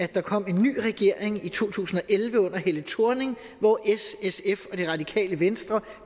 der kom en ny regering i to tusind og elleve under helle thorning hvor s sf og det radikale venstre